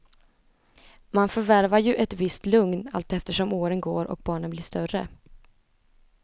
Man förvärvar ju ett visst lugn allteftersom åren går och barnen blir större.